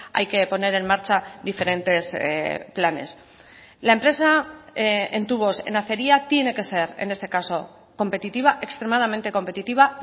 hay que poner en marcha diferentes planes la empresa en tubos en acería tiene que ser en este caso competitiva extremadamente competitiva